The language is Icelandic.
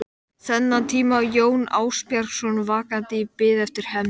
Þennan tíma var Jón Ásbjarnarson vakandi í bið eftir hefnd